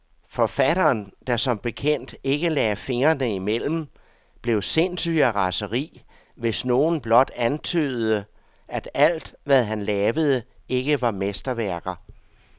Forfatteren, der som bekendt ikke lagde fingrene imellem, blev sindssyg af raseri, hvis nogen blot antydede, at alt, hvad han lavede, ikke var mesterværker.